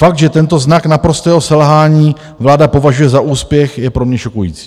Fakt, že tento znak naprostého selhání vláda považuje za úspěch, je pro mě šokující.